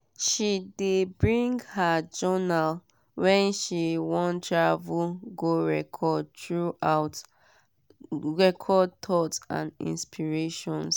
she de bring her journal when she want travel go record thoughts and inspirations.